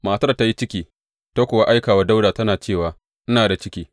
Matar ta yi ciki, ta kuwa aika wa Dawuda, tana cewa, Ina da ciki.